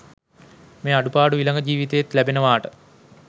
මේ අඩුපාඩු ඊළඟ ජීවිතයෙත් ලැබෙනවාට?